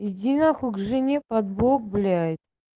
иди нахуй к жене под бок блять